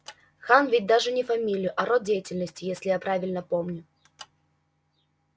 хан ведь даже не фамилия а род деятельности если я правильно помню